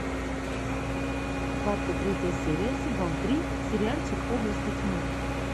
двадцать третья серия сезон три сериальчик области тьмы